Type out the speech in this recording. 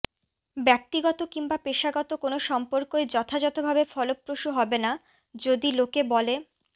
ব্যক্তিগত কিংবা পেশাগত কোনও সম্পর্কই যথাযথভাবে ফলপ্রসূ হবে না যদি লোকে বলে